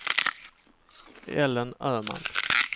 Ellen Öhman